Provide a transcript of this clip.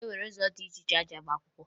E nwere ụzọ dị iche iche esi agba akwụkwọ